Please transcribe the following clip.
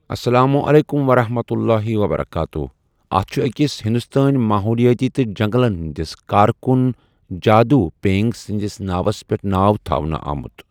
اسلام علیکم ورحمۃ اللہ تعالٰی وبرکاتہ اتھ چھُ أکِس ہندوستٲنہِ ماحولیٲتی تہٕ جنگلن ہٕنٛدِس کارکُن جادوٗ پیینگ سٕنٛدِس ناوَس پٮ۪ٹھ ناو تھاونہٕ آمُت۔